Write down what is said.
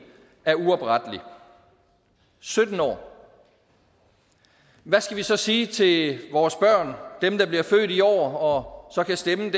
er uoprettelig sytten år hvad skal vi så sige til vores børn dem der bliver født i år og kan stemme